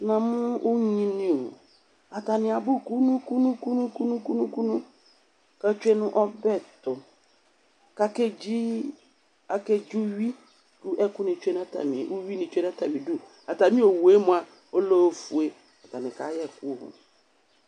namʊ ɔwiniɔ atinɩ abu kumukumu katsɛ nu ɔbɛtɔ kakɛtsɩ ɔwɩ ku ɛkutcɛ ɔwi tsɛ nu atanibɔ atani ɔƴɛmʊa ulɛɔfɛ atani kayɛ ɛkʊɔ